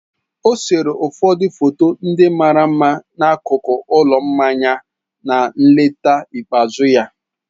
O sere ụfọdụ foto ndị mara mma n'akụkụ ụlọ mmanya na nleta ikpeazụ ya.